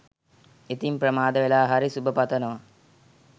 ඉතිං ප්‍රමාද වෙලා හරි සුභ පතනවා